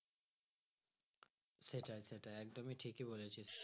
সেটাই সেটাই একদমই ঠিকই বলেছি।